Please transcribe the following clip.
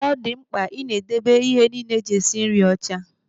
Ọ dị mkpa ị debe ihe niile e ji esi nri ọcha.